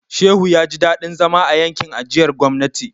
Shehu ya ji dadin zama a yankin ajiyar gwamnati.